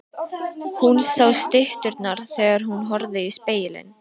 Hún sá stytturnar þegar hún horfði í spegilinn.